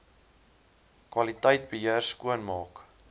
kwaliteit beheer skoonmaak